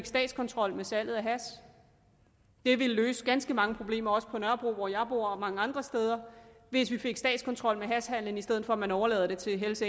statskontrol med salget af hash det ville løse ganske mange problemer også på nørrebro hvor jeg bor og mange andre steder hvis vi fik statskontrol med hashhandelen i stedet for at man overlader til hells